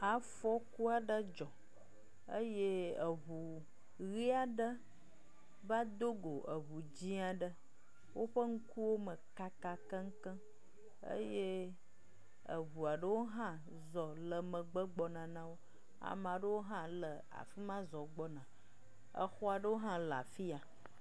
Afɔku aɖe dzɔ eye eŋu ʋi aɖe va do go eŋu dzɛ̃ aɖe, woƒe ŋkuwo me kaka keŋkeŋkeŋ eye eŋu aɖewo hã zɔ le megbe gbɔna na wo. Ame aɖewo hã le afi ma zɔ gbɔna, exɔ aɖewo hã le afi ya.